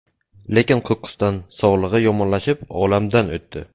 Lekin qo‘qqisdan sog‘lig‘i yomonlashib, olamdan o‘tdi.